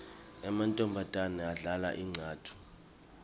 emantfombatane adlala incatfu